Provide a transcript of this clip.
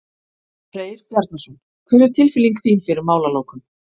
Freyr Bjarnason: Hver er tilfinning þín fyrir málalokum?